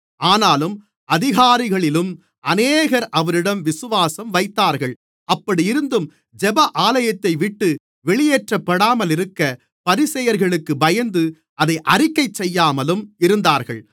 ஆனாலும் அதிகாரிகளிலும் அநேகர் அவரிடம் விசுவாசம் வைத்தார்கள் அப்படியிருந்தும் ஜெப ஆலயத்தைவிட்டு வெளியேற்றப்படாமல் இருக்க பரிசேயர்களுக்கு பயந்து அதை அறிக்கைசெய்யாமலும் இருந்தார்கள்